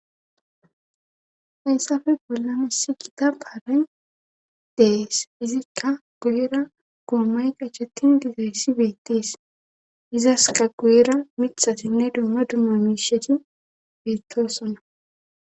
hayssafe bolla nisi gita baaray dees izikka guyira goommay qachettin gizayssi beettees izaska guyira mithatinne dumma dumma miisheti beettosonna